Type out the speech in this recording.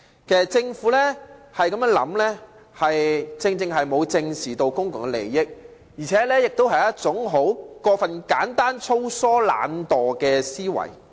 其實，政府這種說法，正正顯示它沒有正視公共利益，也是一種過分簡單、粗疏和懶惰的思維。